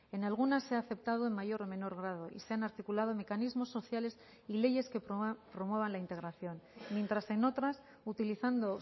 en algunas se ha aceptado en mayor o menor grado y se han articulado mecanismos sociales y leyes que promuevan la integración mientras en otras utilizando